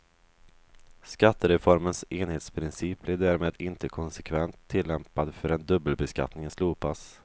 Skattereformens enhetsprincip blir därmed inte konsekvent tillämpad förrän dubbelbeskattningen slopas.